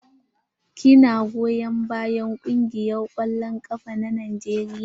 Ki na goyon bayan kungiyar kwallon ƙafa na Najeriya?